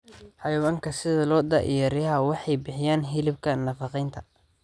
Xayawaanka sida lo'da iyo riyaha waxay bixiyaan hilibka nafaqeynta.